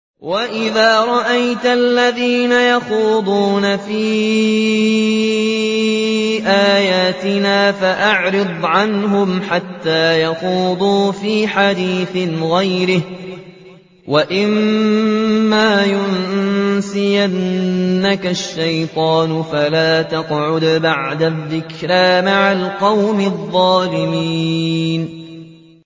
وَإِذَا رَأَيْتَ الَّذِينَ يَخُوضُونَ فِي آيَاتِنَا فَأَعْرِضْ عَنْهُمْ حَتَّىٰ يَخُوضُوا فِي حَدِيثٍ غَيْرِهِ ۚ وَإِمَّا يُنسِيَنَّكَ الشَّيْطَانُ فَلَا تَقْعُدْ بَعْدَ الذِّكْرَىٰ مَعَ الْقَوْمِ الظَّالِمِينَ